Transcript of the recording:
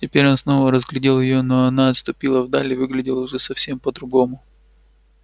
теперь он снова разглядел её но она отступила вдаль и выглядела уже совсем по другому